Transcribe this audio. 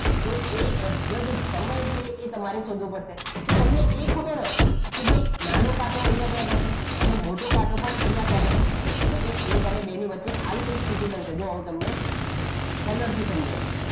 તો એ exact સમય છે એ તમારે શોધવો પડશે તો તમને એ ખબર હોય કે ભય નાનો કાંટો અહીંયા ક્યાંક હશે અને મોટો કાંટો પણ અહીંયા ક્યાંક હશે okay એક અને બેની વચ્ચે આવી કઈ સ્થિતિ બનશે જો હું તમને કલર થી સમજાવી દઉં